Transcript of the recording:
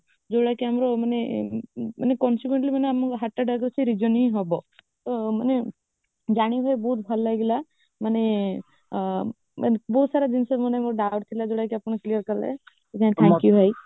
ଯାଉଭଳିଆ କି ଆମର ମାନେ coincidentally ମାନେ ଆମକୁ heart attack ଆସିବାର reason ଏଇ ହେବ ତ ମାନେ ଜାଣିବ ବହୁତ ଭଲ ହେଇଗଲା ମାନେ ଆ ବହୁତ ସାରା ଜିନିଷ ମାନେ